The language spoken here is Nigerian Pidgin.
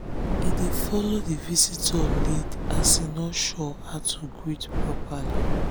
he dey follow the visitor lead as he no sure how to greet properly. greet properly.